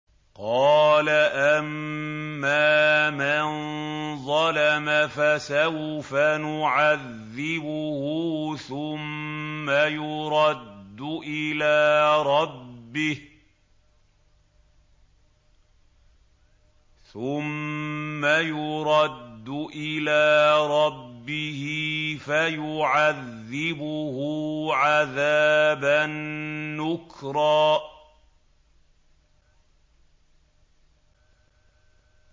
قَالَ أَمَّا مَن ظَلَمَ فَسَوْفَ نُعَذِّبُهُ ثُمَّ يُرَدُّ إِلَىٰ رَبِّهِ فَيُعَذِّبُهُ عَذَابًا نُّكْرًا